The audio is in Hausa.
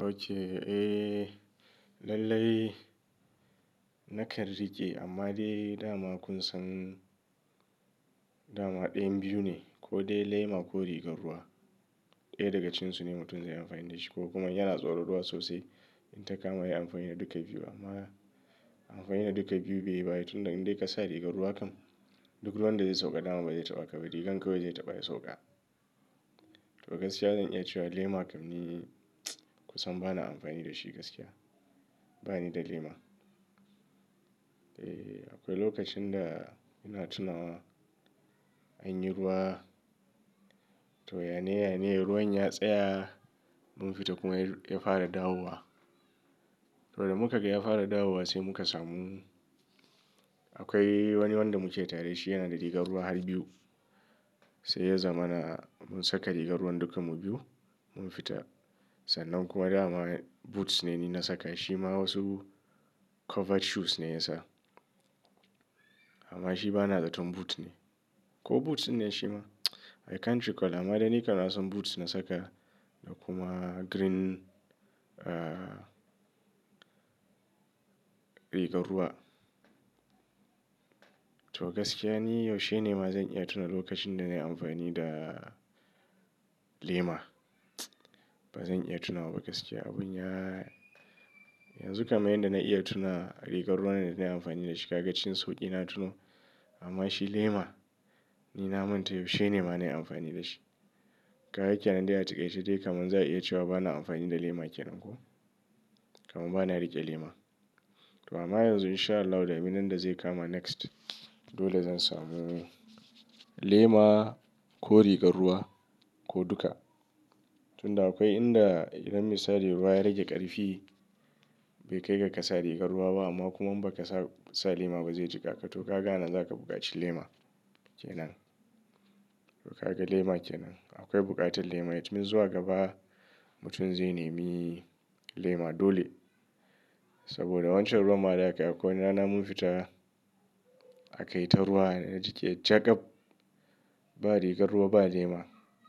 Oke, eh lallai nakan riƙe amma dai dama kusan dama ɗayan biyu ne ko dai lema ko rigar ruwa. Ɗaya daga cikin su ne mutum zai amfani da shi ko kuma in yana tsoron ruwa sosai in ta kama yayi amfani da duka biyu amma amfani da duka biyu bai yi ba tun da indai ka sa rigar ruwa kan duk ruwan da zai sauka dama bai taɓa ka ba rigar kawai zai taɓa ya sauka. To gaskiya zan iya cewa lema kam ni kusan bana amfani da shi gaskiya bani da lema. Eh akwai lokacin da ina tunawa an yi ruwa to yane-yane ruwan ya tsaya mun fita kuma ya fara dawowa. To da muka ga ya fara dawowa sai muka samu akwai wani wanda muke tare da shi yana da rigar ruwa har biyu. Sai ya zama na mun saka rigar ruwan duka mu biyu mun fita sannan kuma dama boots ne ni na saka shi ma wasu covered shoes ne ya sa. Amma shi ba na zaton boots ne ko boots ne shi ma I can't recall amma dai ni kan na san boots na saka da kuma green, ah, rigar ruwa. To gaskiya ni yaushe ne ma zan iya tuna lokacin da na yi amfani da lema? Ba zan iya tunawa ba gaskiya abun ya-- yanzu kaman yanda na iya tuna rigar ruwan da na yi amfani da shi ka ga cikin sauki na tuno amma shi lema ni na manta yaushe ne ma na yi amfani da shi. Ka ga kenan dai a takaice zaa iya cewa a takaice dai kaman za a iya cewa bana amfani da lema kenan ko kaman bana riƙe lema. To amma yanzu in sha Allahu ɗaminan da zai kama next dole zan samu lema ko rigar ruwa ko duka. Tunda akwai inda idan misali ruwa ya rage ƙarfi bai kai ga ka sa rigar ruwa ba amma kuma in baka sa lema ba zai jika ka to ka ga anan za ka buƙaci lema kenan. To ka ga lema kenan. Akwai buƙatar lema. It mean zuwa gaba mutum zai nemi lema dole saboda wancan ruwan ma da aka yi akwai wani rana mun fita a kai ta ruwa na jike jagaf. Ba rigar ruwa ba lema